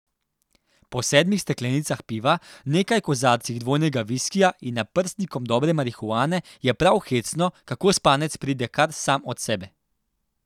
Po sedmih steklenicah piva, nekaj kozarcih dvojnega viskija in naprstnikom dobre marihuane je prav hecno, kako spanec pride kar sam od sebe.